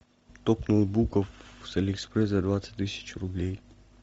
топ ноутбуков с алиэкспресс за двадцать тысяч рублей